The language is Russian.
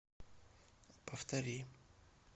повтори